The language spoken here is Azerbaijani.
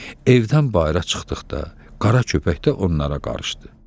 Evdən bayıra çıxdıqda, Qara köpək də onlara qarışdı.